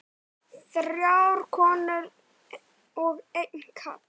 Þrjár konur og einn karl.